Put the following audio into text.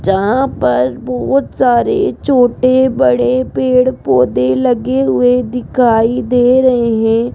जहां पर बहोत सारे छोटे बड़े पेड़ पौधे लगे हुए दिखाई दे रहे है।